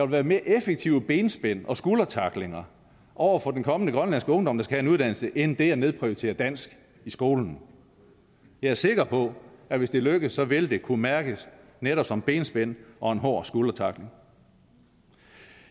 være mere effektive benspænd og skuldertacklinger over for den kommende grønlandske ungdom der skal have uddannelse end det at nedprioritere dansk i skolen jeg er sikker på at hvis det lykkes vil det kunne mærkes netop som benspænd og en hård skuldertackling